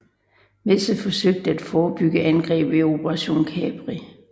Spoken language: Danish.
Messe forsøgte et forebyggende angreb i Operation Capri